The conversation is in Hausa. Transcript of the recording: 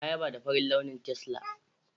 Na yaba da farin launi tesla.